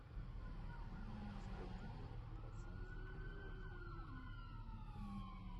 сколько берут процент за перевод